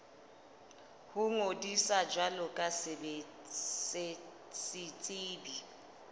ho ngodisa jwalo ka setsebi